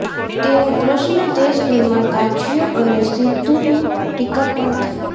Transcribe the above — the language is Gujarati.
તેવો પ્રશ્ન દેશભરમાં ગાજ્યો અને સિધ્ધુની ટીકા પણ થઇ